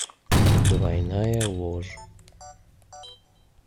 двойная ложь